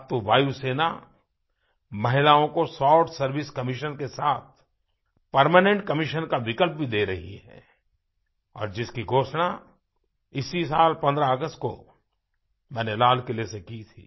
अब तो वायुसेना महिलाओं को शॉर्ट सर्वाइस कमिशन के साथ परमेनेंट कमिशन का विकल्प भी दे रही है और जिसकी घोषणा इसी साल 15 अगस्त को मैंने लाल किले से की थी